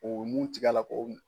O nun tigɛ a la ko mun.